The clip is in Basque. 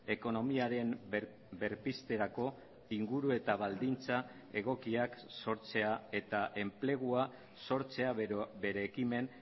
ekonomiaren berpizterako inguru eta baldintza egokiak sortzea eta enplegua sortzea bere ekimen